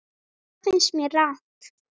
Það finnst mér rangt.